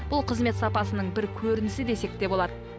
бұл қызмет сапасының бір көрінісі десек те болады